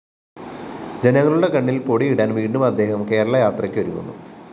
ജനങ്ങളുടെ കണ്ണില്‍ പൊടിയിടാന്‍ വീണ്ടും അദ്ദേഹം കേരള യാത്രയ്‌ക്കൊരുങ്ങുന്നു